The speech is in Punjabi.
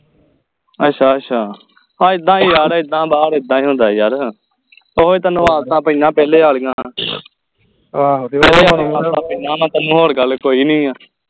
ਅਸ਼ਾ ਅਸ਼ਾ ਆਹ ਇੱਦਾਂ ਯਾਰ ਇੱਦਾ ਬਾਹਰ ਇੱਦਾਂ ਹੀ ਹੁੰਦੇ ਯਾਰ ਉਹ ਹੀ ਤੈਨੂੰ ਆਦਤਾਂ ਪਾਈਆਂ ਪਹਿਲੇ ਆਲਿਆਂ ਤੈਨੂੰ ਹੋਰ ਗੱਲ ਕੋਈ ਨਹੀਂ ਆ